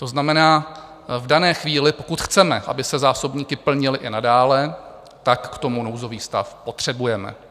To znamená v dané chvíli, pokud chceme, aby se zásobníky plnily i nadále, tak k tomu nouzový stav potřebujeme.